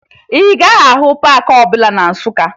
Ị gaghị ahụ paakị ọbụla na Nsụka